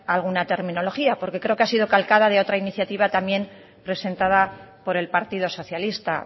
alguna terminología porque creo que ha sido calcada de otra iniciativa también presentada por el partido socialista